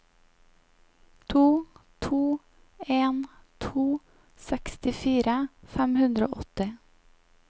to to en to sekstifire fem hundre og åtti